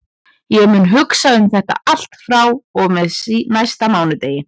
Ég mun hugsa um þetta allt frá og með næsta mánudegi.